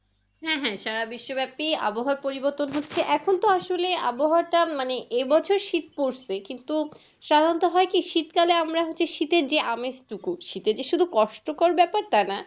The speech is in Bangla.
হ্যাঁ হ্যাঁ সারা বিশ্বব্যাপী আবহাওয়ার পরিবর্তন হচ্ছে এখন তো আসলে আবহাওয়াটা মানে এবছর শীত পড়ছে কিন্তু সাধারণত হয় কি শীতকালে আমরা হচ্ছে শীতের যে আমেজটুকু শীতের যে শুধু কষ্ট কর ব্যাপার তা না